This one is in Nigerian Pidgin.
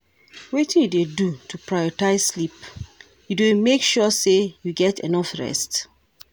Wetin you dey do to prioritze sleep, you dey make sure say you get enough rest?